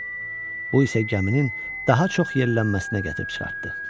Bu isə gəminin daha çox yırğalanmasına gətirib çıxartdı.